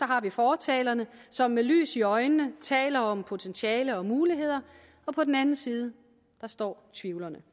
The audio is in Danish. har vi fortalerne som med lys i øjnene taler om potentiale og muligheder på den anden side står tvivlerne